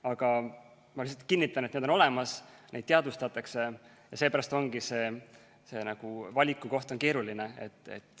Aga ma lihtsalt kinnitan, et need on olemas, neid teadvustatakse ja seepärast ongi valik keeruline.